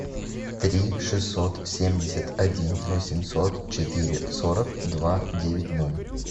три шестьсот семьдесят один восемьсот четыре сорок два девять ноль